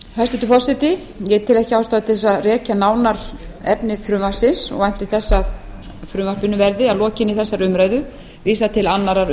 hæstvirtur forseti ég tel ekki ástæðu til þess að rekja nánar efni frumvarpsins og vænti þess að frumvarpinu verði að lokinni þessari umræðu vísað til annarrar